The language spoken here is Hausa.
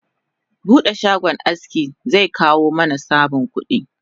Bude shagon aski zekawo mana samun kudi